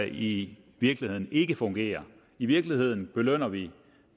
i virkeligheden ikke fungerer i virkeligheden belønner vi